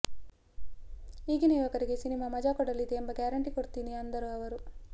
ಈಗಿನ ಯುವಕರಿಗೆ ಸಿನಿಮಾ ಮಜಾ ಕೊಡಲಿದೆ ಎಂಬ ಗ್ಯಾರಂಟಿ ಕೊಡ್ತೀನಿ ಅಂದರು ಅವರು